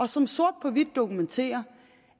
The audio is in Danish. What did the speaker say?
som sort på hvidt dokumenterer